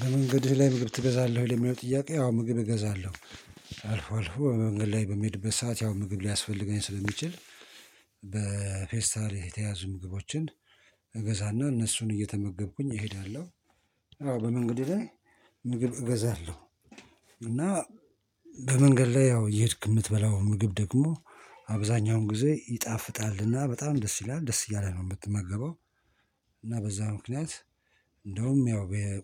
በመንገድህ ላይ ምግብ ትገዛለህ ወይ? ለሚለው ጥያቄ ያው ምግብ እገዛለሁ። አልፎ አልፎ በመንገድ ላይ በሚሄድበት ሰዓት ያው ምግብ ሊያስፈልገኝ ስለሚችል። በፌስታል የተያዙ ምግቦችን እገዛና እነሱን እየተመገብኩኝ እሄዳለሁ። አዎ በመንገድ ላይ እገዛለሁ። እና በመንገድ ላይ ያው እየሄድክ የምትበላው ምግብ ደግሞ አብዛኛውን ጊዜ ይጣፍጣልና በጣም ደስ ይላል ደስ እያለህ ነው የምትመገበው። እና በዛ ምክንያት እንደውም ያው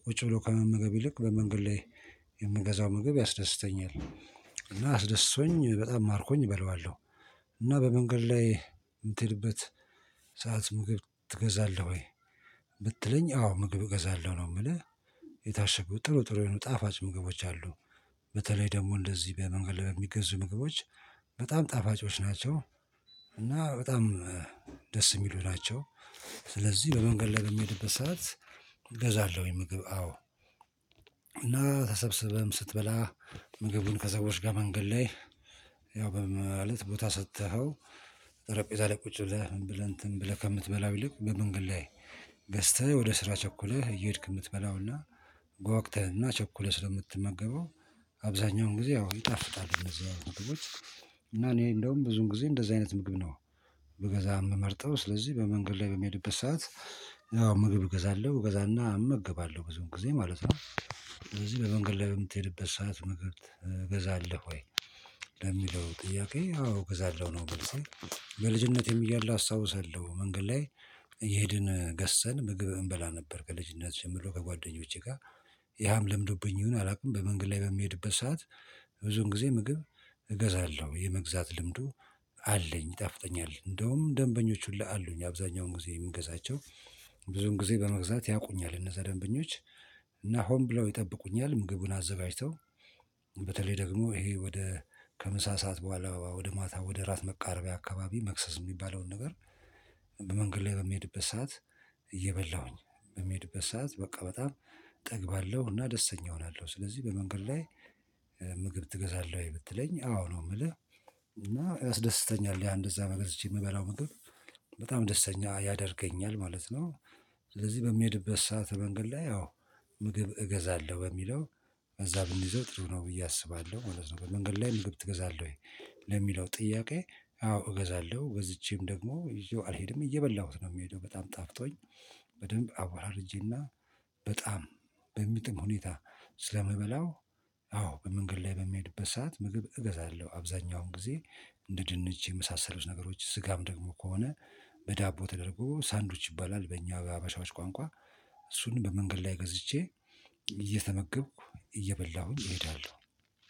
ቁጭ ብሎ ከመመገብ ይልቅ በመንገድ ላይ የምገዛው ምግብ ያስደስተኛል። እና አስደስቶኝ በጣም አርኮኝ እበላዋለሁ። እና በመንገድ ላይ የምትሄድበት ሰዓት ምግብ ትገዛለህ ወይ? ብትለኝ አዎ ምግብ እገዛለሁ ነው የምልህ። የታሸጉ ጥሩ ጥሩ የሆኑ ጣፋጭ ምግቦች አሉ። በተለይ ደግሞ እንደዚህ በመንገድ ላይ የሚገዙ ምግቦች በጣም ጣፋጮች ናቸው። እና በጣም ደስ የሚሉ ናቸው። ስለዚህ በመንገድ ላይ የምሄድበት ሰዓት እገዛለሁኝ ምግብ አዎ። እና ተሰብስበህም ስትበላ ምግብን ከሰዎች ጋር መንገድ ላይ ያው ማለት ቦታ ሰጥተኸው። ጠረጴዛ ላይ ቁጭ ብለህ ብለህ ከምትበላው ይልቅ በምን ግላዬ ገዝተህ ወደ ስራ ቸኩለህ እየሄድክ የምትበላውና ጓግተህና ቸኩለህ ስለምትመገበው። አብዛኛውን ጊዜ ያው ይጣፍጣል እንደዚህ አይነት ምግቦች። እና እኔ እንደውም ብዙን ጊዜ እንደዚህ አይነት ምግብ ነው። ብገዛ የምመርጠው ስለዚህ በመንገድ ላይ በሚሄድበት ሰዓት ያው ምግብ እገዛለሁ እገዛና እመግባለሁ በዚሁም ጊዜ ማለት ነው። ስለዚህ በመንገድ ላይ የምትሄድበት ሰዓት መግብ ትገዛለህ ወይ? ለሚለው ጥያቄ አዎ እገዛለሁ ነው መልሴ። በልጅነቴም እያለሁ አስታውሳለሁ መንገድ ላይ እየሄድን ገዝተን ምግብ እንበላ ነበር ከልጅነት ጀምሮ ከጓደኞቼ ጋር። ያም ለምዶብኝ ይሁን አላውቅም። በመንግል ላይ በሚሄድበት ሰዓት ብዙን ጊዜ ምግብ። እገዛለሁ የመግዛት ልምዱ አለኝ። ይጣፍጠኛል እንደውም ደንበኞች ሁላ አሉኝ አብዛኛውን ጊዜ የምንገዛቸው ብዙውን ጊዜ በመግዛት ያውቁኛል እነዛ ደንበኞች። እና ሆን ብለው ይጠብቁኛል ምግቡን አዘጋጅተው። በተለይ ደግሞ ይሄ ወደ ከምሳ ሰዓት በኋላ ወደ ማታ ወደ ራት መቃረቢያ አካባቢ መክሰስ የሚባለውን ነገር። በመንገድ ላይ በሚሄድበት ሰዓት እየበላሁኝ በምሄድበት ሰዓት በቃ በጣም እጠግባለሁና ደስተኛ እሆናለሁ። ስለዚህ በመንገድ ላይ ምግብ ትገዛለህ ወይ ብትለኝ? አዎ ነው የምልህ። እና ያስደስተኛል ያ እንደዛ ገዝቼ የምበላው ምግብ በጣም ደስተኛ ያደርገኛል ማለት ነው። ስለዚህ በምሄድበት ሰዓት መንገድ ላይ ያው ምግብ እገዛለሁ በሚለው በዛ ብንይዘው ጥሩ ነው ብዬ አስባለሁ ማለት ነው። በመንገድ ላይ ምግብ ትገዛለህ ወይ? ለሚለው ጥያቄ። አዎ እገዛለሁ ገዝቼም ደግሞ ይዤው አልሄድም እየበላሁት ነው የምሄደው። በጣም ጣፍጦኝ በደንብ አወራርጄና በጣም በሚጥም ሁኔታ ስለምበላው። አዎ በመንገድ ላይ በምሄድበት ሰዓት ምግብ እገዛለሁ አብዛኛውን ጊዜ። እንደ ድንች የመሳሰሉት ነገሮች ስጋም ደግሞ ከሆነ በዳቦ ተደርጎ ሳንዶች ይባላል። በእኛ በሃባሻዎች ቋንቋ። እሱን በመንገድ ላይ ገዝቼ እየተመገብኩ እየበላሁኝ እሄዳለሁ።